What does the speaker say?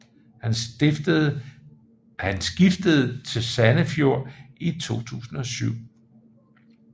Han skiftede til Sandefjord i 2007